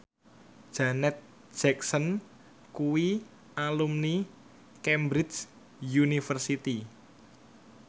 Janet Jackson kuwi alumni Cambridge University